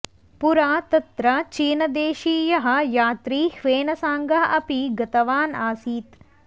पुरा तत्र चीनदेशीयः यात्री ह्वेनसांग अपि गतवान् आसीत्